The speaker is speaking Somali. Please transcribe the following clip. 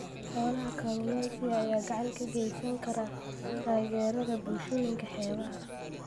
Kooxaha kalluumeysiga ayaa gacan ka geysan kara taageerada bulshooyinka xeebaha.